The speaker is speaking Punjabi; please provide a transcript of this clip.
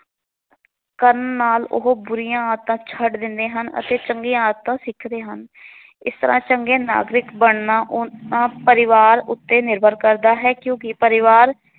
ਕਰਨ ਨਾਲ ਉਹ ਬੁਰੀਆਂ ਆਦਤਾਂ ਛੱਡ ਦਿੰਦੇ ਹਨ ਅਤੇ ਚੰਗੀਆਂ ਆਦਤਾਂ ਸਿੱਖਦੇ ਹਨ। ਇਸ ਤਰਾਂ ਚੰਗੇ ਨਾਗਰਿਕ ਬਣਨਾ ਉਹਨਾਂ ਪਰਿਵਾਰ ਉੱਤੇ ਨਿਰਭਰ ਕਰਦਾ ਹੈ ਕਿਉਂਕਿ ਪਰਿਵਾਰ